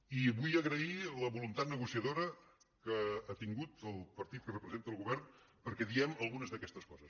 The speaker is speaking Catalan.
i vull agrair la vo·luntat negociadora que ha tingut el partit que repre·senta el govern perquè diguem algunes d’aquestes coses